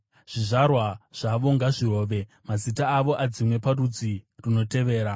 Zvizvarwa zvake ngazvirove, mazita avo adzimwe parudzi runotevera.